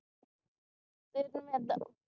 ਵੇਖਣ ਨੂੰ ਏਦਾਂ